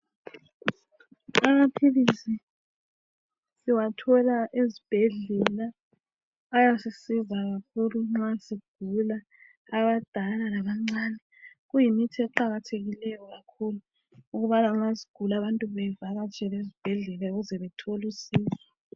Amaphilisi siwathola ezibhedlela ayasisiza kakhulu nxa sigula abadala labancane. Kuyimithi eqakathekileyo kakhulu ukubana aluba abantu begula bevakatshele ezibhedlela ukuze bethole usizo.